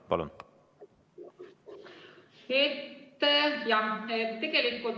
Palun!